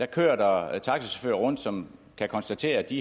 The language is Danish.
kører der taxachauffører rundt som kan konstatere at de